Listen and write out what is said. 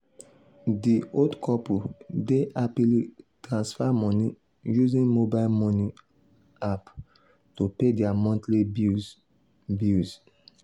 di old couple dey happily transfer moni using mobile moni app to pay dia monthly bills. bills.